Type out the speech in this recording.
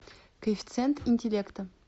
коэффициент интеллекта